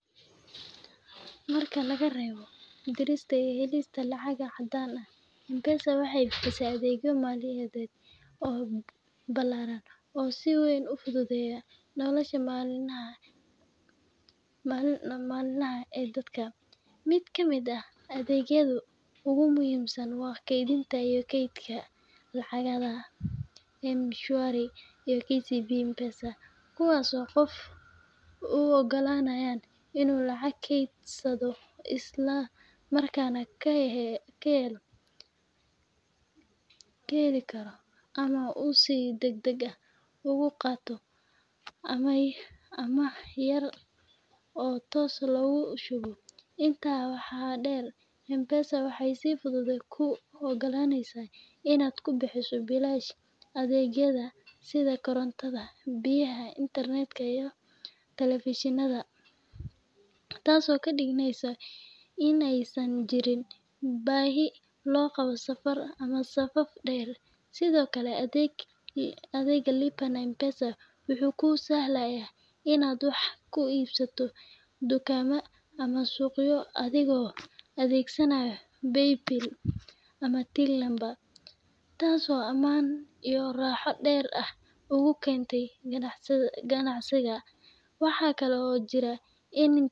Marka laga reebo dirista iyo helista lacag caddaan ah, M-Pesa waxay bixisaa adeegyo maaliyadeed oo ballaaran oo si weyn u fududeeya nolosha maalinlaha ah ee dadka. Mid ka mid ah adeegyada ugu muhiimsan waa kaydinta iyo kaydka lacageed ee M-Shwari iyo KCB M-Pesa, kuwaas oo qofka u oggolaanaya inuu lacag keydsado isla markaana ka helo ribo, ama uu si degdeg ah uga qaato amaah yar oo toos loogu shubo. Intaa waxaa dheer, M-Pesa waxay si fudud kuu ogolaaneysaa inaad ku bixiso biilasha adeegyada sida korontada, biyaha, internet-ka, iyo telefishinnada , taasoo ka dhigaysa in aysan jirin baahi loo qabo safar ama safaf dhaadheer. Sidoo kale, adeega Lipa na M-Pesa wuxuu kuu sahlayaa inaad wax ku iibsato dukaamo ama suuqyo adigoo adeegsanaya Paybill ama Till number, taasoo ammaan iyo raaxo dheeraad ah u keenta ganacsiga. Waxaa kale oo jirah in.